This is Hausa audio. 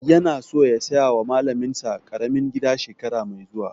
Yana so ya saya wa malamin sa ƙaramin gida shekara mai zuwa